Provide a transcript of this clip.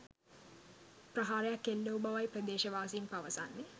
ප්‍රහාරයක් එල්ලවූ බවයි ප්‍රදේශවාසීන් පවසන්නේ.